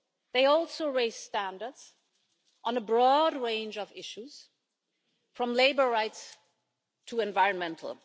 They also raise standards on a broad range of issues, from labour rights to environmental.